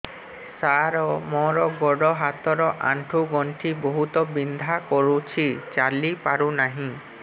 ସାର ମୋର ଗୋଡ ହାତ ର ଆଣ୍ଠୁ ଗଣ୍ଠି ବହୁତ ବିନ୍ଧା କରୁଛି ଚାଲି ପାରୁନାହିଁ